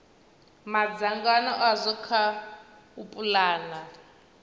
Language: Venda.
madzangano azwo kha u pulana